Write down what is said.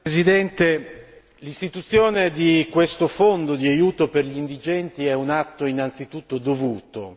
Signor Presidente, onorevoli colleghi, l'istituzione di questo fondo di aiuto per gli indigenti è un atto innanzitutto dovuto,